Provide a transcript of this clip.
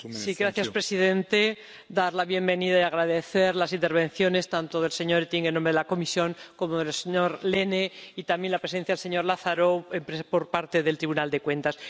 Señor presidente, deseo dar la bienvenida y agradecer las intervenciones tanto del señor Oettinger, en nombre de la Comisión, como del señor Lehne y también la presencia del señor Lazarou, por parte del Tribunal de Cuentas.